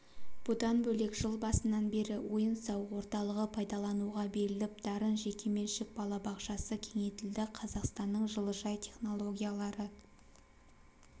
бұдан бөлек жыл басынан бері ойын-сауық орталығы пайдалануға беріліп дарын жекеменшік балабақшасы кеңейтілді қазақстанның жылыжай технологиялары